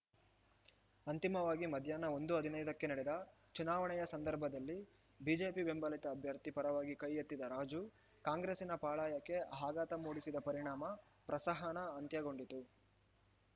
ಅಂತಿಮವಾಗಿ ಮಧ್ಯಾಹ್ನ ಒಂದು ಹದಿನೈದಕ್ಕೆ ನಡೆದ ಚುನಾವಣೆಯ ಸಂದರ್ಭದಲ್ಲಿ ಬಿಜೆಪಿ ಬೆಂಬಲಿತ ಅಭ್ಯರ್ಥಿ ಪರವಾಗಿ ಕೈ ಎತ್ತಿದ ರಾಜು ಕಾಂಗ್ರೆಸ್ಸಿನ ಪಾಳಯಕ್ಕೆ ಆಘಾತ ಮೂಡಿಸಿದ ಪರಿಣಾಮ ಪ್ರಸಹನ ಅಂತ್ಯಗೊಂಡಿತು